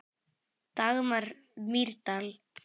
Dagmar Mýrdal.